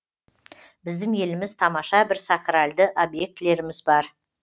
біздің еліміз тамаша бір сакральды объектілеріміз бар